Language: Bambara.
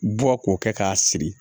Bɔ k'o kɛ k'a siri